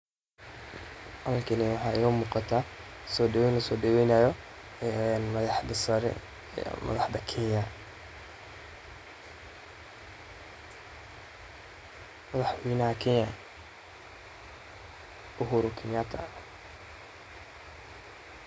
Halkani waxa iiga muqataa soodhaweyn lasoo dhaweynayo ee madaxda sare ,ee madaxda kenya ee Uhuru Kenyatta.